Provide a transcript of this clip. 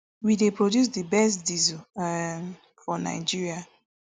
we dey produce di best diesel um for nigeria